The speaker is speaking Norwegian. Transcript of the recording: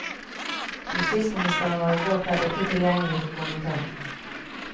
Justisministeren var i går kveld ikke tilgjengelig for kommentar.